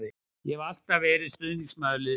Ég hef alltaf verið stuðningsmaður liðsins.